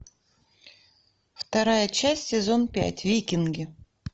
вторая часть сезон пять викинги